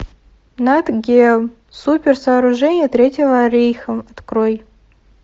нат гео супер сооружения третьего рейха открой